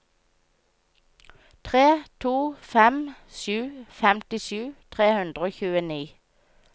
tre to fem sju femtisju tre hundre og tjueni